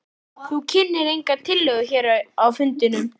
Lillý: Þú kynntir enga tillögu hér á fundinum?